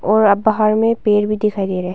और अब बाहर में पेड़ भी दिखाई दे रहे हैं।